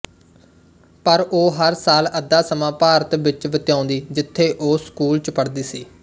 ਪਰ ਉਹ ਹਰ ਸਾਲ ਅੱਧਾ ਸਮਾਂ ਭਾਰਤ ਵਿੱਚ ਬਿਤਾਉਂਦੀ ਜਿਥੇ ਉਹ ਸਕੂਲ ਚ ਪੜ੍ਹਦੀ ਸੀ